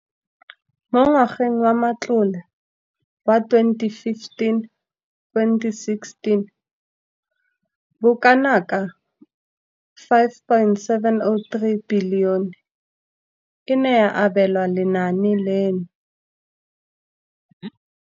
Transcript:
Mo ngwageng wa matlole wa 2015,16, bokanaka R5 703 bilione e ne ya abelwa lenaane leno.